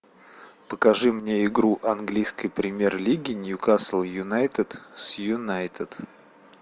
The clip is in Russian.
покажи мне игру английской премьер лиги ньюкасл юнайтед с юнайтед